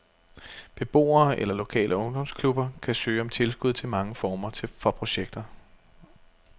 Beboere eller lokale ungdomsklubber kan søge om tilskud til mange former for projekter.